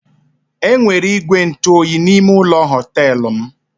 E nwere ígwè ntụoyi n'ime ụlọ họtelụ m.